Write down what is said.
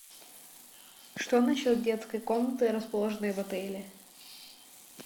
что насчет детской комнаты расположенной в отеле